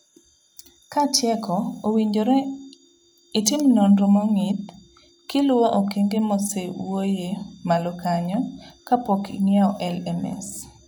Katieko, owinjore itim nonro mong'ith kiluwo okenge mosee wuoyee malo kanyo, kapok ing'iewo LMS.